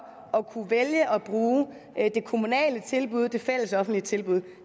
at kunne vælge at bruge det kommunale tilbud det fælles offentlige tilbud